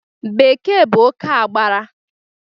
Bekee bụ oké agbara